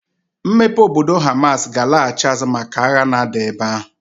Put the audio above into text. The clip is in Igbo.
Mmepe obodo Hamas ga-alaghachi azụ maka agha na-ada ebe ahụ.